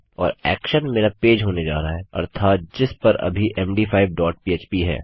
और एक्शन मेरा पेज होने जा रहा है अर्थात जिस पर अभी मद5 डॉट पह्प है